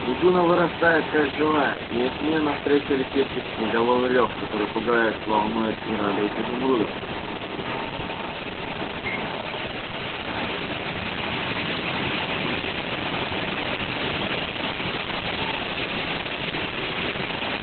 трибуна вырастает как живая и от нее навстречу летит тысячеголосый рёв который пугает волнует и радует изумруда